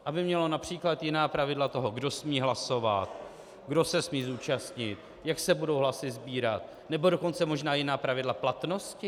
Aby mělo například jiná pravidla toho, kdo smí hlasovat, kdo se smí zúčastnit, jak se budou hlasy sbírat, nebo dokonce možná jiná pravidla platnosti?